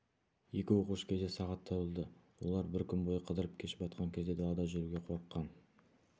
екі оқушы кеше сағат табылды олар бір күн бойы қыдырып кеш батқан кезде далада жүруге қорыққан